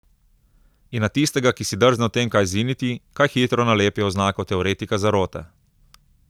In na tistega, ki si drzne o tem kaj ziniti, kaj hitro nalepijo oznako teoretika zarote.